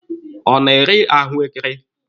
Ọ na-ere ahụekere?